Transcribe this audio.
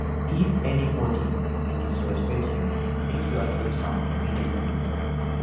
if anybodi dey disrespect you make you address am immediately